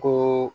Ko